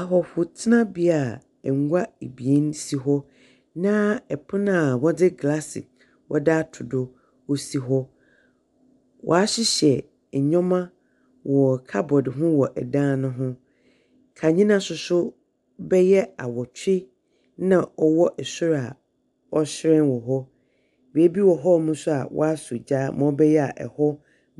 Ahɔhotenabea a ɛngua ebien si hɔ. Na ɛpono a wɔdze glaase wɔdze aato do wɔsi hɔ. Waahyehyɛ ɛnyɛma wɔ kabɔd ho wɔ ɛdan no ho. Kanyena so so bɛyɛ awotwe na ɔwɔ sro a ɔɔhyerɛn wɔ hɔ. Baabi wɔ hɔmo so a waasɔ gya ma ɔbɛyɛ a ɛhɔ